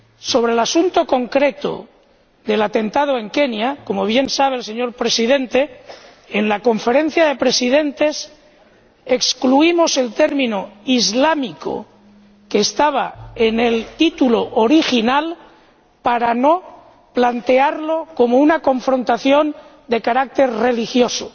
Sobre el asunto concreto del atentado en Kenia ―como bien sabe el señor Presidente―, en la Conferencia de Presidentes excluimos el término islámico, que estaba en el título original, para no plantearlo como una confrontación de carácter religioso